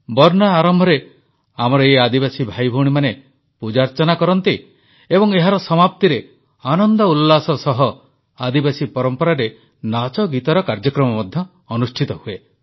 ବର୍ନା ଆରମ୍ଭରେ ଆମର ଏହି ଆଦିବାସୀ ଭାଇଭଉଣୀମାନେ ପୂଜାଅର୍ଚ୍ଚନା କରନ୍ତି ଏବଂ ଏହାର ସମାପ୍ତିରେ ଆନନ୍ଦ ଉଲ୍ଲାସ ସହ ଆଦିବାସୀ ପରମ୍ପରାରେ ନାଚଗୀତର କାର୍ଯ୍ୟକ୍ରମ ମଧ୍ୟ ଅନୁଷ୍ଠିତ ହୁଏ